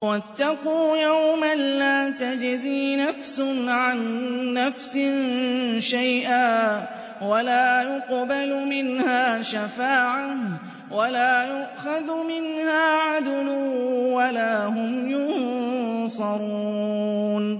وَاتَّقُوا يَوْمًا لَّا تَجْزِي نَفْسٌ عَن نَّفْسٍ شَيْئًا وَلَا يُقْبَلُ مِنْهَا شَفَاعَةٌ وَلَا يُؤْخَذُ مِنْهَا عَدْلٌ وَلَا هُمْ يُنصَرُونَ